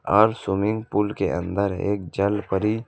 और swimming pool के अंदर एक जलपरी--